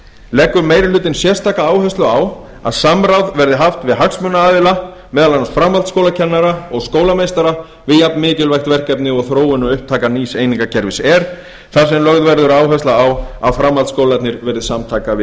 leggur meiri hlutinn áherslu á að samráð verði haft við hagsmunaaðila meðal annars framhaldsskólakennara og skólameistara við jafnmikilvægt verkefni og þróun og upptaka nýs einingakerfis er þar sem lögð verður áhersla á að framhaldsskólarnir verði samtaka við